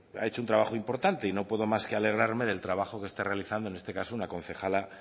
ha hecho un trabajo importante y no puedo más que alegrarme del trabajo que está realizando en este caso una concejala